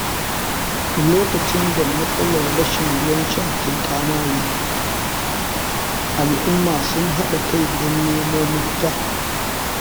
Lokacin da matsalar rashin ruwan sha ta yi ƙamari, al’umma sun haɗa kai don nemo mafita.